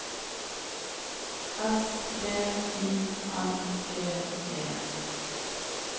S V I N G E